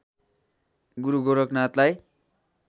गुरु गोरखनाथलाई